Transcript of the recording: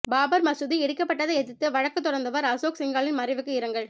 பாபர் மசூதி இடிக்கப்பட்டதை எதிர்த்து வழக்கு தொடர்ந்தவர் அசோக் சிங்காலின் மறைவுக்கு இரங்கல்